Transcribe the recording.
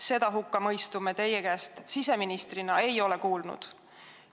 Seda me teie kui siseministri suust ei ole kuulnud.